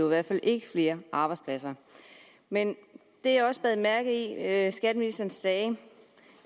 i hvert fald ikke flere arbejdspladser men det jeg også bed mærke i at at skatteministeren sagde